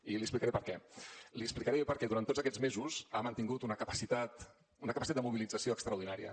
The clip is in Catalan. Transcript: i li explicaré per què li explicaré per què durant tots aquests mesos ha mantingut una capacitat de mobilització extraordinària